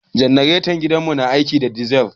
Janaretan gidan mu na aiki da dizil